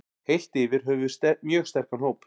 Heilt yfir höfum við mjög sterkan hóp.